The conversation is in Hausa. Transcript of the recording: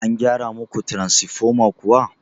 An gyara muku taransifoma kuwa?